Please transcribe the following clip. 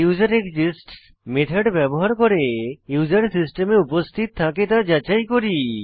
user exists method ব্যবহার করে user সিস্টেমে উপস্থিত থাকে তা যাচাই করি